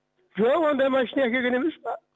жоқ ондай машина әкелген емес па